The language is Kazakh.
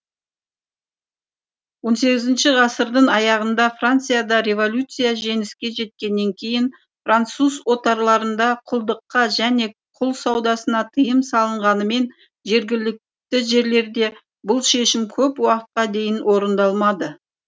он сегізінші ғасырдың аяғында францияда революция жеңіске жеткеннен кейін француз отарларында құлдыққа және құл саудасына тыйым салынғанымен жергілікті жерлерде бұл шешім көп уақытқа дейін орындалмады